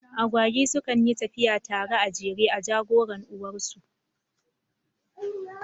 Agwagi su kan yyi tafiya tare a jere, a jagoran uwar su